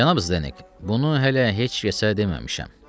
Cənab Zdenek, bunu hələ heç kəsə deməmişəm.